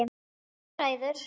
Þú ræður!